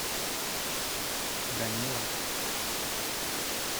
данилов